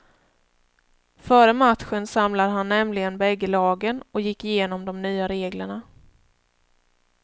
Före matchen samlade han nämligen bägge lagen och gick igenom de nya reglerna.